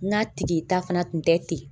Ŋa tige ta fana tun tɛ ten.